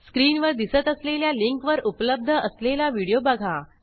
स्क्रीनवर दिसत असलेल्या लिंकवर उपलब्ध असलेला व्हिडिओ बघा